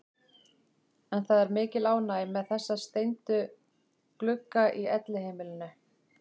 En það er mikil ánægja með þessa steindu glugga í Elliheimilinu.